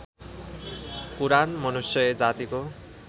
कुरान मनुष्य जातिको